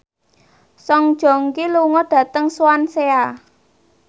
Song Joong Ki lunga dhateng Swansea